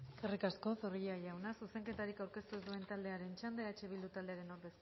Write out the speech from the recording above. eskerrik asko zorrilla jauna zuzenketarik aurkeztu ez duen taldearen txanda eh bildu taldearen ordezkaria